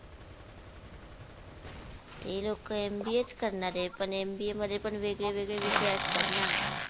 ते लोक MBA च करणारे पण MBA मध्ये पण वेगळेवेगळे विषय असतात ना